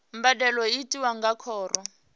mbadelo i tiwa nga khoro